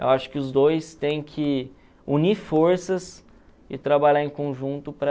Eu acho que os dois têm que unir forças e trabalhar em conjunto para...